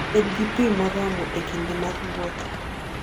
Bed gi pi moromo e kinde mar wuoth.